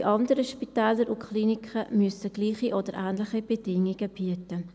Die anderen Spitäler und Kliniken müssen gleiche oder ähnliche Bedingungen bieten.